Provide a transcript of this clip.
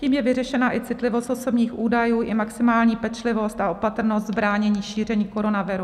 Tím je vyřešena i citlivost osobních údajů i maximální pečlivost a opatrnost v bránění šíření koronaviru.